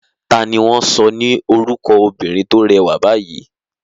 Ta ni wọ́n sọ ni orúkọ obìnrin tó rẹwà báyìí?